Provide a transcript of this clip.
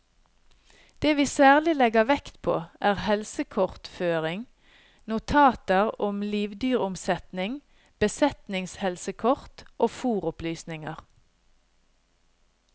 Det vi særlig legger vekt på, er helsekortføring, notater om livdyromsetning, besetningshelsekort og fôropplysninger.